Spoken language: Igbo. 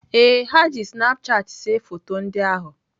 Ee, ha ji snapchat see foto ndị ahụ